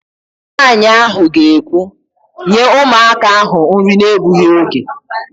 Nwaanyị ahụ ga-ekwu, "nye ụmụaka ahụ nri na-egbughị oge"!